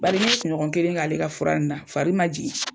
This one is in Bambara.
Baari n ɲɛ kuɲɔgɔn kelen k'ale ka fura in na fari ma jigi.